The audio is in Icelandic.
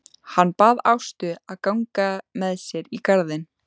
Hann bað Ástu að ganga með sér í garðinn.